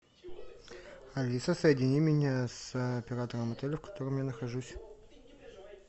алиса соедини меня с оператором отеля в котором я нахожусь